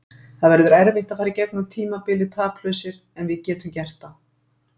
Það verður erfitt að fara í gegnum tímabilið taplausir en við getum gert það.